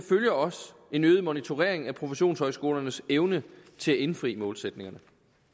følger også en øget monitorering af professionshøjskolernes evne til at indfri målsætningerne